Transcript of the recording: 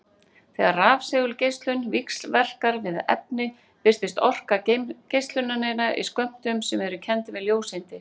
Þegar rafsegulgeislun víxlverkar við efni birtist orka geislunarinnar í skömmtum sem eru kenndir við ljóseindir.